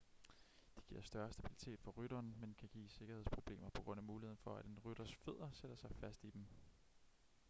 de giver større stabilitet for rytteren men kan give sikkerhedsproblemer på grund af muligheden for at en rytters fødder sætter sig fast i dem